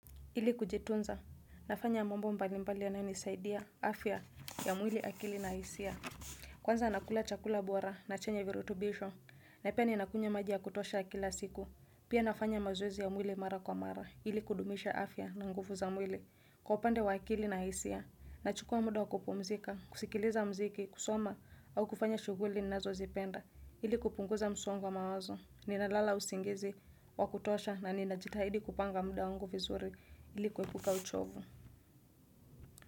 Ili kujitunza, nafanya mambo mbalimbali yanayonisaidia, afya ya mwili akili na hisia. Kwanza nakula chakula bora na chenye virutubisho, na pia ninakunywa maji ya kutosha kila siku. Pia nafanya mazoezi ya mwili mara kwa mara, ili kudumisha afya na nguvu za mwili. Kwa upande wa akili na hisia, nachukua muda wa kupumzika, kusikiliza mziki, kusoma, au kufanya shughuli ninazozipenda. Ili kupunguza msongo wa mawazo, ninalala usingizi, wa kutosha na ninajitahidi kupanga muda wangu vizuri. Ili kuepuka uchovu.